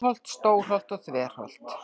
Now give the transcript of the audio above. Meðalholt, Stórholt og Þverholt.